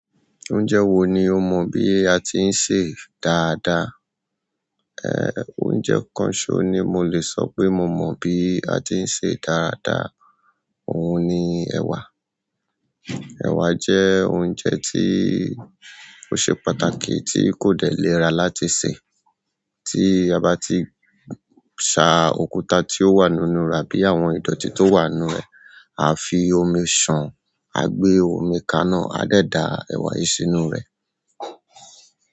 Oúnjẹ wo ni o mọ bí a ti ń sẹ dáadáa? Oúnjẹ kan so ni mole sope mo mo bi àti n se dada oun ni ewa ẹ̀wà jẹ́ oúnjẹ tí ó ṣe pàtàkì tí kò dẹlẹra láti sè. Tí a bá ti sa òkúta tí ó wà nínú rà bí i àwọn ìdọ̀tí tó wà nínú rẹ̀, a fi omi ṣàn, a gbé omi kaná, a dẹ̀ da ẹ̀wà yìí sínú rẹ̀.